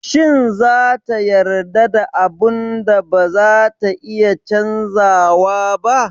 Shin za ta yarda da abun da bazata iya canzawa ba?